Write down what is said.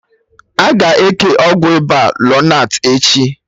Aga eke Ọgwụ ịba lonart echi